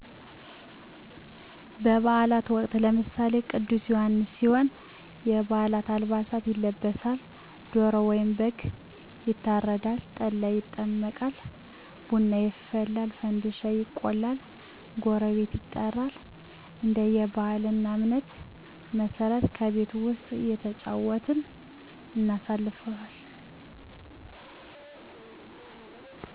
በባአላት ወቅት ለምሳሌ ቅዱስ ዮሐንስ ሲሆን የባሀል አልባሳት ይለበሳል ዶሮ ወይም በግ ይታረዳል ጠላ ይጠመቃል ቡና ይፈላል ፈንድሻ ይቆላል ጎረቤት ይጠራል እንደየ ባህል እና እምነት መሠረት በቤት ዉስጥ እየተጫወትን እናሳልፍለን።